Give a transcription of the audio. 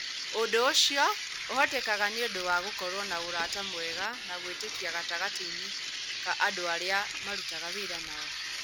Ũndũ ũcio ũhotekaga nĩ ũndũ wa gũkorũo na ũrata mwega na gwĩtĩkia gatagatĩ-inĩ ka andũ arĩa marutaga wĩra nao.